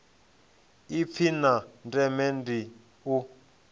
ipfi la ndeme ndi u